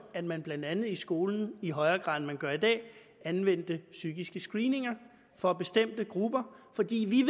at man i blandt andet skolen i højere grad end man gør i dag anvender psykiske screeninger for bestemte grupper fordi vi